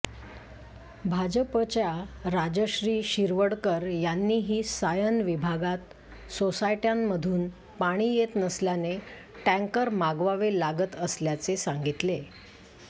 भाजपच्या राजश्री शिरवडकर यांनीही सायन विभागात सोसायट्यांमधून पाणी येत नसल्याने टँकर मागवावे लागत असल्याचे सांगितले